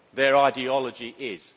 Their ideology is.